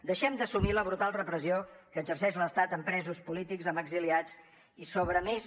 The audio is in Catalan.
deixem d’assumir la brutal repressió que exerceix l’estat amb presos polítics amb exiliats i sobre més